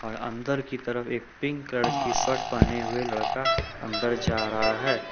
और अंदर की तरफ एक पिंक कलर की शर्ट पहने हुए लड़का अंदर जा रहा है।